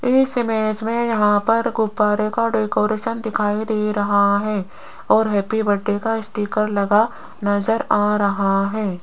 इस इमेज में यहां पर गुब्बारे का डेकोरेशन दिखाई दे रहा है और हैप्पी बर्थडे का स्टीकर लगा नजर आ रहा है।